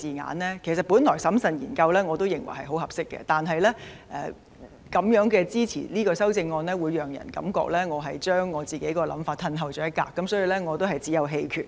我原本認為"審慎研究"是合適的，不過支持這項修正案便會讓人覺得我自己的想法退後了一步，所以只有棄權。